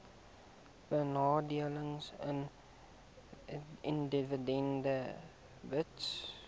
benadeelde individue hbis